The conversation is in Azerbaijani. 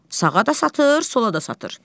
Sağa da satır, sola da satır.